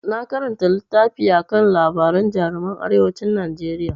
Na karanta littafi akan labaran jaruman arewacin Najeriya.